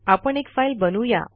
आपण एक फाईल बनवू या